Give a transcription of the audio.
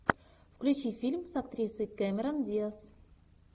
включи фильм с актрисой кэмерон диаз